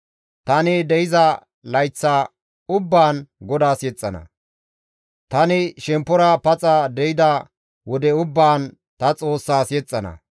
Tani de7iza layth ubbaan GODAAS yexxana; tani shemppora paxa de7ida wode ubbaan ta Xoossas yexxana.